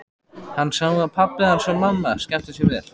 Hann sá að pabbi hans og mamma skemmtu sér vel.